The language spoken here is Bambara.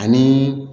Ani